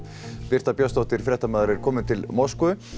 Birta Björnsdóttir fréttamaður er komin til Moskvu